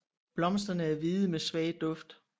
Blomsterne er hvide med svag duft